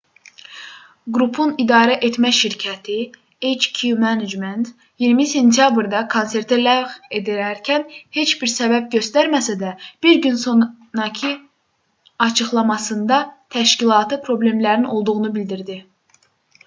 qrupun idarəetmə şirkəti hk management inc 20 sentyabrda konserti ləğv edərkən heç bir səbəb göstərməsə də bir gün sonakı açıqlamasında təşkilati problemlərin olduğunu bildirdi